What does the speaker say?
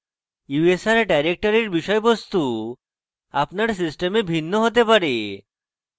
usr ডাইরেক্টরির বিষয়বস্তু আপনার system ভিন্ন হতে পারে